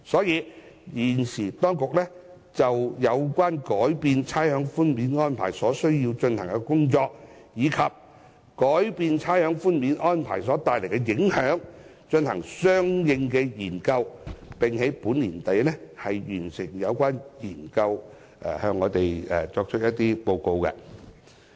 因此，當局現正就有關改變差餉寬免安排所需要進行的工作，以及改變差餉寬免安排所帶來的影響，進行相應研究，並會在本年年底完成有關工作後再向立法會報告。